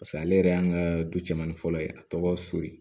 Paseke ale yɛrɛ y'an ka du cɛmanin fɔlɔ ye a tɔgɔ soli